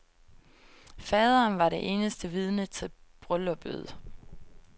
Faderen var det eneste vidne til brylluppet.